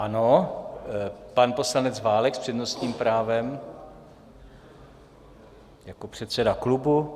Ano, pan poslanec Válek s přednostním právem jako předseda klubu.